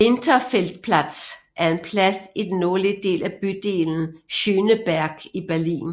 Winterfeldtplatz er en plads i den nordlige del af bydelen Schöneberg i Berlin